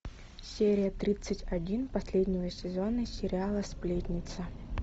серия тридцать один последнего сезона сериала сплетница